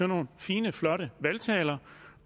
nogle fine flotte valgtaler